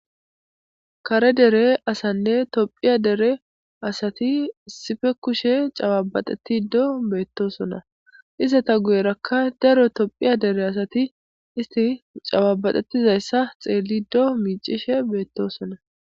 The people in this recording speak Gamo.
kare dere asanne tophiya dere asati sife kushe cababaxetido beettosona isata guyerakka daro tophiya dere asati isti cababaxettizayssa xeellido miicishe beettosona